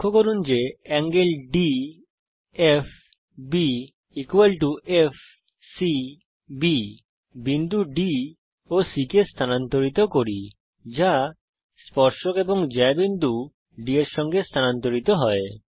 লক্ষ্য করুন যে ∠DFB ∠FCB বিন্দু D ও C কে স্থানান্তরিত করি যা স্পর্শক এবং জ্যা বিন্দু D এর সঙ্গে স্থানান্তরিত হয়